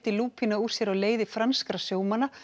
lúpína úr sér á leiði franskra sjómanna